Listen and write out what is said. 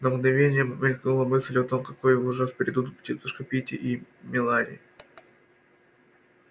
на мгновение мелькнула мысль о том какой ужас придут тётушка питти и мелани